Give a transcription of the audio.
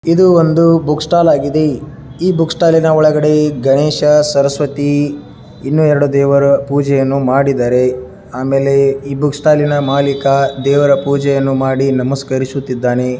ಇದು ಒಂದು book stall ಆಗಿದೆ ಈ ಬುಕ್ ಸ್ಟಾಲಿ ನ ಒಳಗಡೆ ಗಣೇಶ ಸರಸ್ವತೀ ಇನ್ನು ಎರಡು ದೇವರ ಪೂಜೆ ಮಾಡಿದರೆ ಆಮೇಲೆ ಆಮೇಲೆ ಬುಕ್ ಸ್ಟಾಲ್ ನ ಮಾಲಿಕ ದೇವರ ಪೂಜೆ ಮಾಡಿ ನಮಸ್ಕರಿಸುತ್ತಿದ್ದಾನೆ.